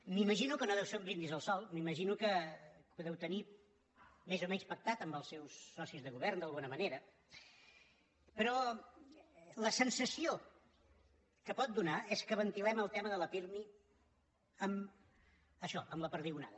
m’imagino que no deu ser un brindis al sol m’imagino que ho deu tenir més o menys pactat amb els seus socis de govern d’alguna manera però la sensació que pot donar és que ventilem el tema de la pirmi amb això amb la perdigonada